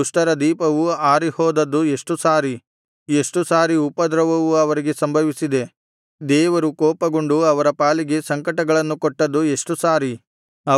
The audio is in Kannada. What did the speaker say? ದುಷ್ಟರ ದೀಪವು ಆರಿಹೋದದ್ದು ಎಷ್ಟು ಸಾರಿ ಎಷ್ಟು ಸಾರಿ ಉಪದ್ರವವು ಅವರಿಗೆ ಸಂಭವಿಸಿದೆ ದೇವರು ಕೋಪಗೊಂಡು ಅವರ ಪಾಲಿಗೆ ಸಂಕಟಗಳನ್ನು ಕೊಟ್ಟದ್ದು ಎಷ್ಟು ಸಾರಿ